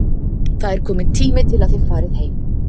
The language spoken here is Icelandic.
Það er kominn tími til að þið farið heim.